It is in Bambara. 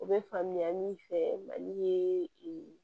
O bɛ faamuya min fɛ mali ye